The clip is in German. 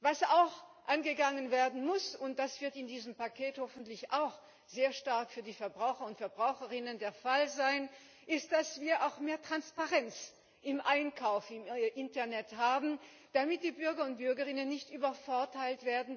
Was auch angegangen werden muss, und das wird in diesem Paket hoffentlich auch sehr stark für die Verbraucher und Verbraucherinnen der Fall sein, ist, dass wir auch mehr Transparenz beim Einkauf im Internet haben, damit die Bürger und Bürgerinnen nicht dadurch übervorteilt werden,